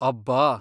ಅಬ್ಬಾ!